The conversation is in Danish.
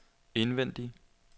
indvendig